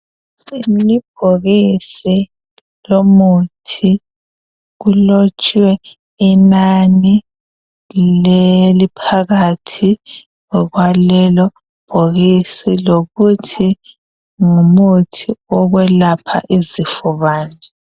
Libhokisi lomuthi kulotshwe inani eliphakathi kwalelo bhokisi lokuthi ngumuthi wokwelapha izifo bani.